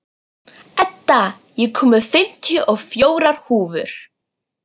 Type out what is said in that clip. Edda, ég kom með fimmtíu og fjórar húfur!